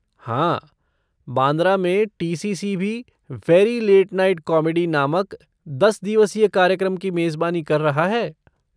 हाँ, बांद्रा में टी.सी.सी. भी 'वेरी लेट नाइट कॉमेडी' नामक दस दिवसीय कार्यक्रम की मेज़बानी कर रहा है।